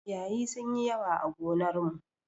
Ciyayi sun yi yawa a gonar mu.